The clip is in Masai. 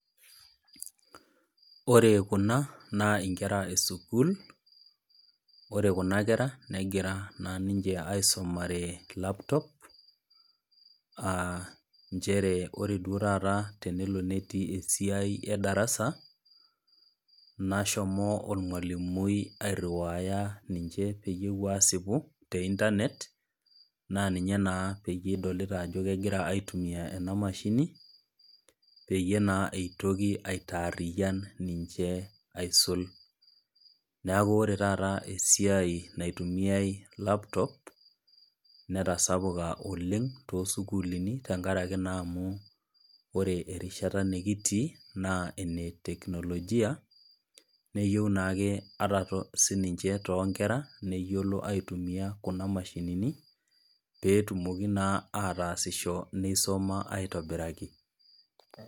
Ore kuna naa inkera e sukuul, ore kuna kera negira naa ninche aisomare laptop, aa nchere ore duo taata esiai e darasa nashomo olmwalimui airiuaya ninche peyie epuo aasipu te internet naa ninye naa pee idolita ajo kegira aitumiya ena emashini peyie eitoki naa aitaariyan niche aisul, neaku ore taata esiai nitumiyai laptop, netasapuka oleng' toosukullini tenkaraki naa amu ore erishata nekitii naa ene teknologia, neyou naake ata sininche too inkera neyiolo aitumiaya kuna mashinini pee etumoki naa aisomata neasisho aitobiraki.